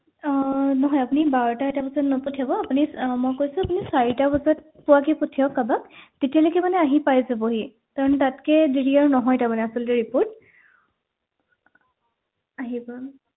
আহ নহয় আপুনি বাৰটা এটা বজাত নপঠিয়াব please মই কৈছো আপুনি চাৰিটা বজাত পোৱাকে পঠিয়াওঁক কাৰবাক তেতিয়ালৈকে মানে আহি পাই যাবহি কাৰণ তাতকে দেৰি আৰু নহয় তাৰমানে আচলতে report আহিব